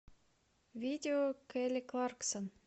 видео келли кларксон